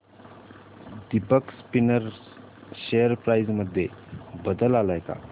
Deepak spinners share price मध्ये बदल आलाय का